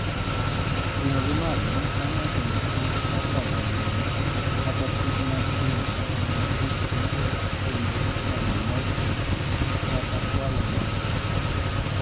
Ting'ogi malo konyo e geng'o kich kaka oyieyo kata kich matindo mondo kik giketh kuonde kano mor kich kata kwalo mor kich.